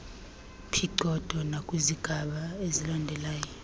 phicotho nakwizigaba ezilandelayo